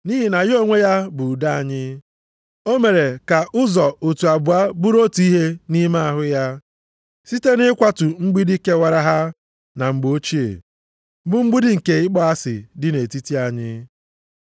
Nʼihi na ya onwe ya bụ udo anyị, o mere ka ụzọ otu abụọ bụrụ otu ihe nʼime ahụ ya, site na ịkwatu mgbidi kewara ha na mgbe ochie, bụ mgbidi nke ịkpọ asị dị nʼetiti anyị.